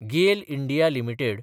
गेल (India) limited